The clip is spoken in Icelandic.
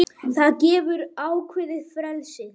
Það gefur ákveðið frelsi.